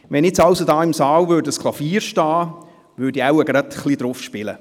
Stünde ein Klavier hier im Saal, würde ich jetzt ein wenig darauf spielen.